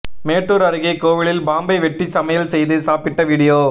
மேட்டூர் அருகே கோவிலில் பாம்பை வெட்டி சமையல் செய்து சாப்பிட்ட விடியோ